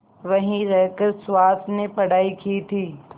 वहीं रहकर सुहास ने पढ़ाई की थी